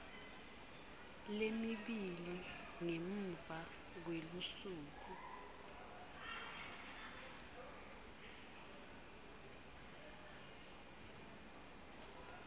lemibili ngemuva kwelusuku